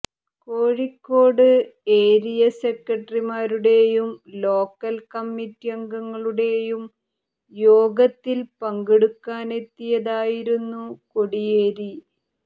Kozhikode area സെക്രട്ടറിമാരുടേയും local committee അംഗങ്ങളുടേയും യോഗത്തിൽ പങ്കെടുക്കാനെത്തിയതായിരുന്നു കോടിയേരി